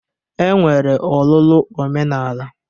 E nwere ọlụlụ omenala